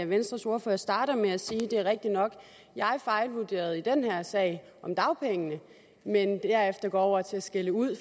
venstres ordfører starter med at sige at det er rigtigt nok at han fejlvurderede den sag om dagpengene men derefter går over til skælde ud